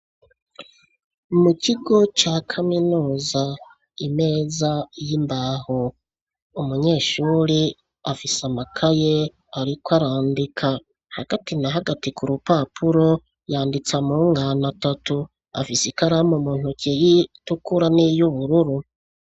Mu kigo ca kaminuza, imeza y'imbaho, umunyeshure afise amakaye ariko arandika, hagati na hagati ku rupapuro yanditse amungane atatu, afise ikaramu mu ntoke itukura n'iyubururu.